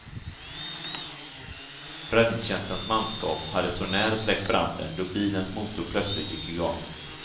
Räddningstjänstens manskap hade så när släckt branden då bilens motor plötsligt gick igång.